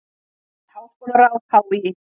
Nýtt háskólaráð HÍ